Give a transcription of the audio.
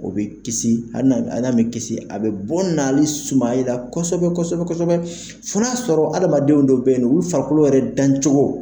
O bɛ kisi ali y'a mɛ kisi a bɛ bɔ sumaya kosɛbɛ fɔ n'a sɔrɔ adamadenw dɔw bɛ yen u farikolo yɛrɛ dan cogo